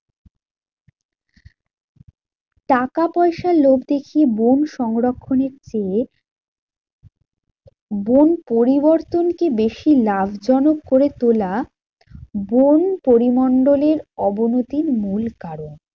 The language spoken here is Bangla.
টাকা পয়সার লোভ দেখিয়ে বন সংরক্ষণের চেয়ে বন পরিবর্তনকে বেশি লাভজনক করে তোলা, বোন পরিমণ্ডলের অবনতির মূল কারণ।